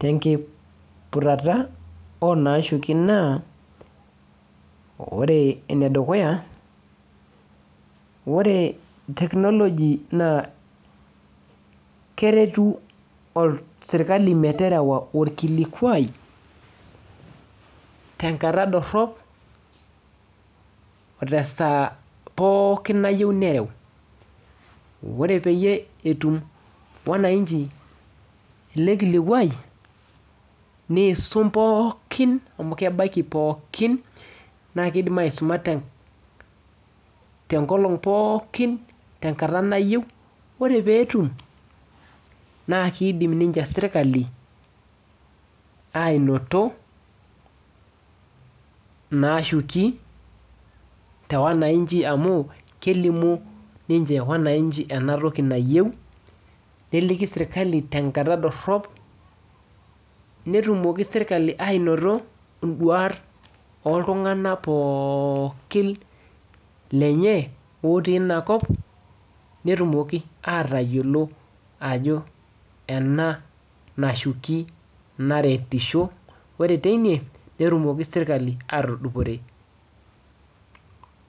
tenkiputata onaashuki naa, ore enedukuya, ore technology naa keretu sirkali meterewa orkilikwai, tenkata dorrop, o tesaa pookin nayieu nareu. Ore peyie etum wananchi ele kilikwai, niisum pookin amu kebaik pookin, na kidim aisuma tenkolong pookin, tenkata nayieu, ore ake peetum, na kidim ninche serkali ainoto naashuki te wananchi amu, kelimu ninche wananchi enatoki nayieu, neliki sirkali tenkata dorrop, netumoki serkali ainoto iduat oltung'anak pookin lenye otii inakop, netumoki atayiolo ajo ena nashuki naretisho. Ore teine, netumoki sirkali atudupore.